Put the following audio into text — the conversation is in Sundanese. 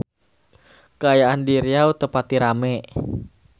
Kaayaan di Riau teu pati rame